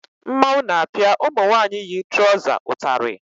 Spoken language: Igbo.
Mmanwụ na-apịa ụmụ nwaanyị yi trọza ụtarị